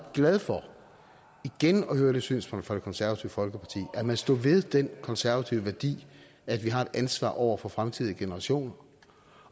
glad for igen at høre det synspunkt fra det konservative folkeparti at man stod ved den konservative værdi at vi har et ansvar over for fremtidige generationer